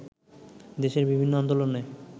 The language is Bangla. দেশের বিভিন্ন আন্দোলনে